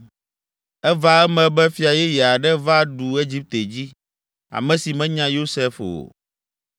Eva eme be fia yeye aɖe va ɖu Egipte dzi, ame si menya Yosef o.